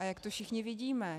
A jak to všichni vidíme?